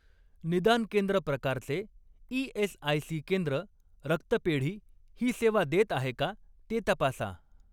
निदान केंद्र प्रकारचे ई.एस.आय.सी. केंद्र रक्तपेढी ही सेवा देत आहे का ते तपासा.